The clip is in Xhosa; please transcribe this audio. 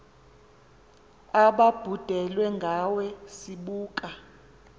ababhudelwe ngawe sibuka